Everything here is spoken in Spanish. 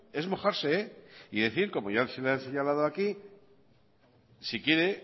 es mojarse y decir como ya se le ha señalado aquí si quiere